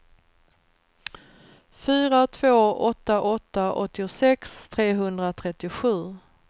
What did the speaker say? fyra två åtta åtta åttiosex trehundratrettiosju